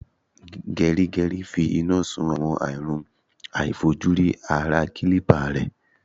Gẹrígẹrí ń fi iná sun àwọn àrùn aàìfojúrí ara kílípà rẹ̀.